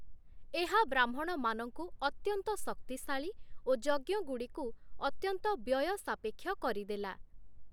ଏହା ବ୍ରାହ୍ମଣମାନଙ୍କୁ ଅତ୍ୟନ୍ତ ଶକ୍ତିଶାଳୀ ଓ ଯଜ୍ଞଗୁଡ଼ିକୁ ଅତ୍ୟନ୍ତ ବ୍ୟୟସାପେକ୍ଷ କରିଦେଲା ।